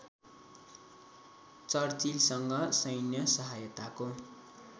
चर्चिलसँग सैन्य सहायताको